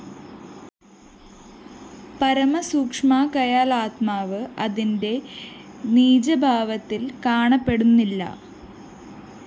പരമസൂക്ഷ്മമാകയാല്‍ ആത്മാവ്‌ അതിന്റെ നിജഭാവത്തില്‍ കാണപ്പെടുന്നില്ല